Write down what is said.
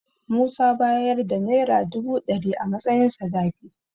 Musa y bayar da Naira dubu ɗari a matsayin sadaki.